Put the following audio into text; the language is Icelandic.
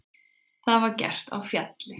Það var gert á Fjalli.